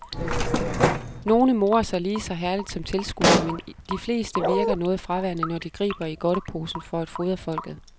Nogen morer sig lige så herligt som tilskuerne, men de fleste virker noget fraværende, når de griber i godteposen for at fodre folket.